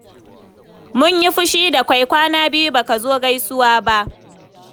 Mun yi fushi da kai. Kwana biyu ba ka zo gaisuwa ba.